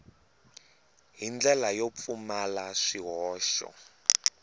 hi ndlela yo pfumala swihoxo